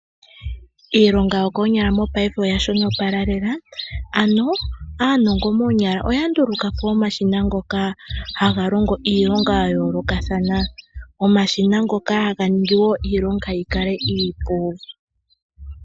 Iilonga yokoonyala mopayife oya shonopala lela, ano aanongo moonyala oya nduluka po omashina ngoka haga longo iilonga ya yoolokathana. Omashina ngoka haga ningi wo iilonga iipu.